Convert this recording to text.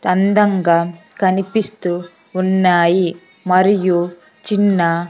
అందంగా కనిపిస్తూ ఉన్నాయి మరియు చిన్న.